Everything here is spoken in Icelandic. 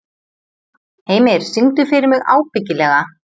Heimir, syngdu fyrir mig „Ábyggilega“.